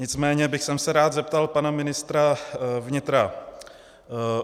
Nicméně bych se rád zeptal pana ministra vnitra.